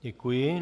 Děkuji.